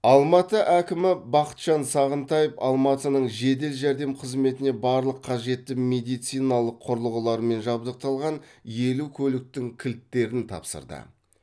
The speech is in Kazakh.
алматы әкімі бақытжан сағынтаев алматының жедел жәрдем қызметіне барлық қажетті медициналық құрылғылармен жабдықталған елу көліктің кілттерін тапсырды